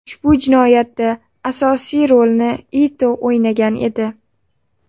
Ushbu jinoyatda asosiy rolni Ito o‘ynagan edi.